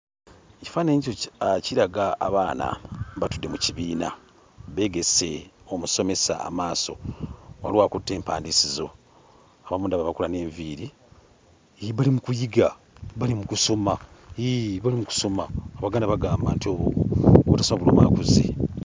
Ekifaananyi ekyo kiraga abaana, batudde mu kibiina beegese omusomesa amaaso, waliwo akutte empandiisizo, abamu ndaba bakola n'enviiri. Hee, bali mu kuyiga, bali mu kusoma, hee bali mu kusoma; Abaganda bagamba nti obutasoma buluma akuze.